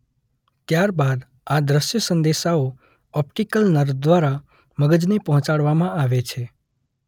ત્યાર બાદ આ દૃષ્ય સંદેશાઓ ઓપ્ટીકલ નર્વ દ્વારા મગજને પહોંચાડવામાં આવે છે.